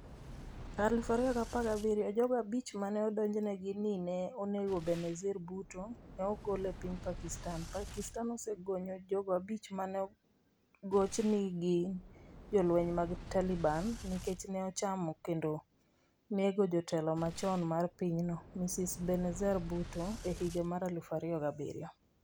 2017. Jogo abich ma ne odonjnego ni ne onego Benazir Bhutto, ne ogol e piny Pakistan. Pakistan osegonyo jogo abich ma negoch ni gin jolweny mag Taliban, nikech ne ochano kendo nego jatelo machon mar pinyno, Mrs. Benazir Bhutto, e higa mar 2007.